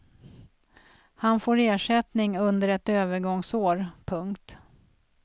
Han får ersättning under ett övergångsår. punkt